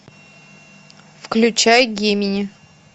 включай гемини